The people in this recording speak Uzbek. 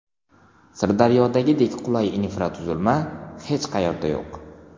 Sirdaryodagidek qulay infratuzilma hech qayerda yo‘q.